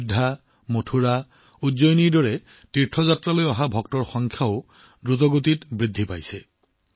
অযোধ্যা মথুৰা উজ্জয়িনী আদি তীৰ্থ ভ্ৰমণলৈ অহা ভক্তৰ সংখ্যাও দ্ৰুতগতিত বৃদ্ধি পাইছে